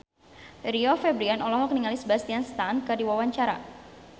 Rio Febrian olohok ningali Sebastian Stan keur diwawancara